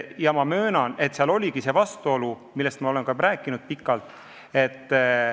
Ma möönan, et seal oligi see vastuolu, millest ma olen pikalt rääkinud.